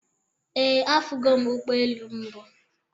Ee, afugo m ụgbọelu mbụ